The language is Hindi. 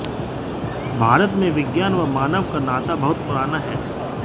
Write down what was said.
भारत में विज्ञान और मानव का नाता बहुत पुराना है